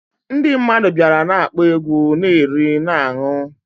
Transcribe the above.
Ndi mmadu biara na-akpo egwu, na eri na ańụ